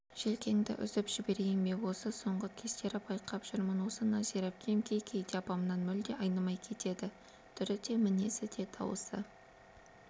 желкеңді үзіп жіберейін бе осы соңғы кездері байқап жүрмін осы нәзира әпкем кей-кейде апамнан мүлде айнымай кетеді түрі де мінезі де даусы